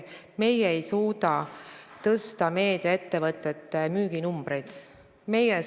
Meie ei suuda parandada meediaettevõtete müüginumbreid.